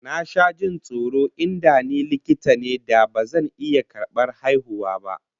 Na sha jin tsoron in da ni likita ne da bazan iya karbar haihuwa ba